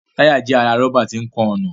Táyà jẹ́ ara rọ́bà tí ń kan ọ̀nà